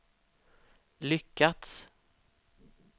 lyckats